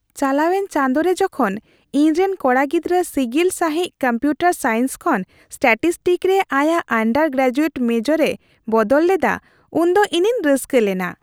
ᱪᱟᱞᱟᱣᱮᱱ ᱪᱟᱸᱫᱳ ᱨᱮ ᱡᱚᱠᱷᱚᱱ ᱤᱧᱨᱮᱱ ᱠᱚᱲᱟ ᱜᱤᱫᱽᱨᱟᱹ ᱥᱤᱜᱤᱞ ᱥᱟᱹᱦᱤᱡ ᱠᱚᱢᱯᱤᱭᱩᱴᱟᱨ ᱥᱟᱭᱮᱱᱥ ᱠᱷᱚᱱ ᱥᱴᱮᱴᱤᱥᱴᱤᱠ ᱨᱮ ᱟᱭᱟᱜ ᱟᱱᱰᱟᱨ ᱜᱨᱮᱡᱩᱭᱮᱴ ᱢᱮᱡᱚᱨ ᱮ ᱵᱚᱫᱚᱞ ᱞᱮᱫᱟ ᱩᱱᱫᱚ ᱤᱧᱤᱧ ᱨᱟᱹᱥᱠᱟᱹ ᱞᱮᱱᱟ ᱾